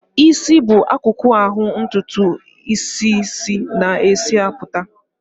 Ịsị bụ akụkụ ahụ ntụtụ isis na-esi apụta.